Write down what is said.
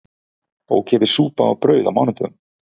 Ókeypis súpa og brauð á mánudögum